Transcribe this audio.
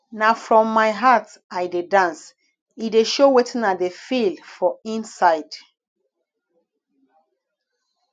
na from my heart i dey dance e dey show wetin i dey feel for inside